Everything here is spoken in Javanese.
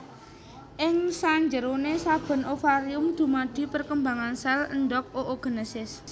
Ing sanjeroné saben ovarium dumadi perkembangan sel endhog oogenesis